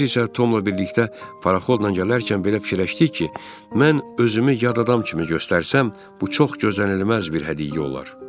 Biz isə Tomla birlikdə paraxolla gələrkən belə fikirləşdik ki, mən özümü yad adam kimi göstərsəm, bu çox gözlənilməz bir hədiyyə olar.